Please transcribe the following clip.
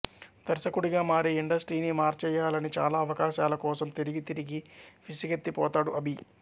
దర్శకుడిగా మారి ఇండస్ట్రీని మార్చేయ్యాలని చాలా అవకాశాల కోసం తిరిగి తిరిగి విసుగెత్తిపోతాడు అభి